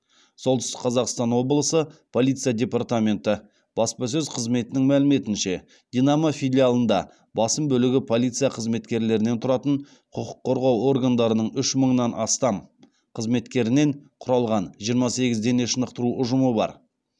солтүстік қазақстан облысы полиция департаменті баспасөз қызметінің мәліметінше динамо филиалында басым бөлігі полиция қызметкерлерінен тұратын құқық қорғау органдарының үш мыңнан астам қызметкерінен құралған жиырма сегіз дене шынықтыру ұжымы бар